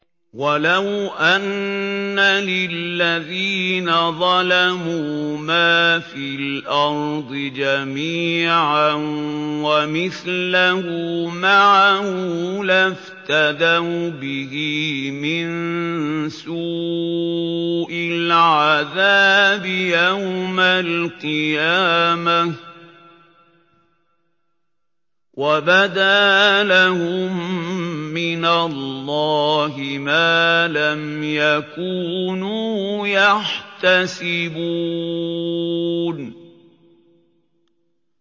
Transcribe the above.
وَلَوْ أَنَّ لِلَّذِينَ ظَلَمُوا مَا فِي الْأَرْضِ جَمِيعًا وَمِثْلَهُ مَعَهُ لَافْتَدَوْا بِهِ مِن سُوءِ الْعَذَابِ يَوْمَ الْقِيَامَةِ ۚ وَبَدَا لَهُم مِّنَ اللَّهِ مَا لَمْ يَكُونُوا يَحْتَسِبُونَ